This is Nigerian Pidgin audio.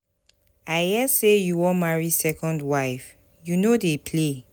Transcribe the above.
I hear say you wan marry second wife. You no dey play.